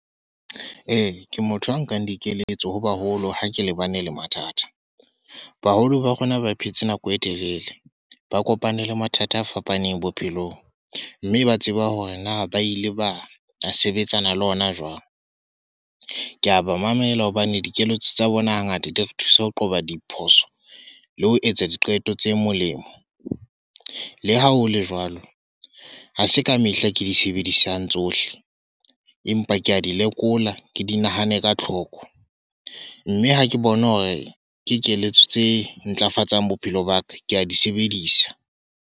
Ee, ke motho a nkang dikeletso ho baholo ha ke lebane le mathata. Baholo ba rona ba phetse nako e telele, ba kopane le mathata a fapaneng bophelong. Mme ba tseba hore na ba ile ba a sebetsana le ona jwang. Ke a ba mamela hobane dikeletso tsa bona ha ngata di re thusa ho qoba diphoso, le ho etsa diqeto tse molemo. Le ha hole jwalo, ha se ka mehla ke di sebedisang tsohle. Empa ke a di lekola, ke di nahane ka tlhoko. Mme ha ke bona hore ke keletso tse ntlafatsang bophelo ba ka. Ke a di sebedisa.